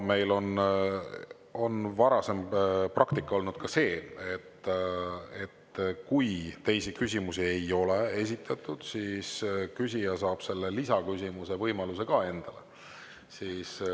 Meil on ka varasem praktika olnud selline, et kui teisi küsijaid ei ole, siis saab küsija lisaküsimuse esitamise võimaluse endale.